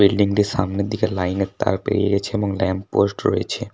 Building টির সামনের দিকে লাইনর তার বেরিয়েছে এবং ল্যাম্প পোস্ট রয়েছে।